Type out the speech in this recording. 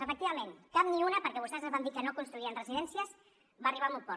efectivament cap ni una perquè vostès ens van dir que no construirien residències va arribar a bon port